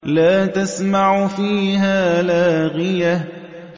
لَّا تَسْمَعُ فِيهَا لَاغِيَةً